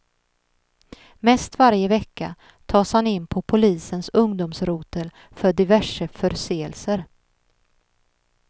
Mest varje vecka tas han in på polisens ungdomsrotel för diverse förseelser.